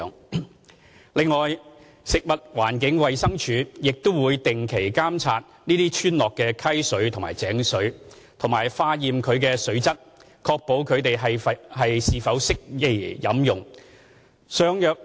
此外，食物環境衞生署亦會定期監察這些村落的溪水或井水及化驗其水質，確定是否適宜飲用。